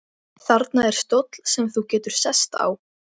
Þarna er stóll sem þú getur sest á.